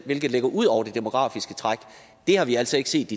hvilket ligger ud over det demografiske træk det har vi altså ikke set